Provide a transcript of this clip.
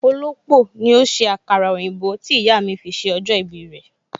Olópò ni ó ṣe àkàrà òyìnbó tí ìyà mi fi ṣe ọjọ́ ìbí rẹ